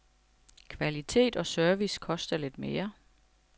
Kvalitet og service koster lidt mere.